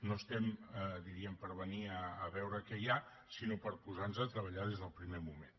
no estem diríem per venir a veure què hi ha sinó per posar nos a treballar des del primer moment